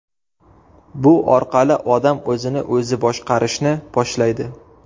Bu orqali odam o‘zini o‘zi boshqarishni boshlaydi.